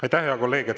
Aitäh, hea kolleeg!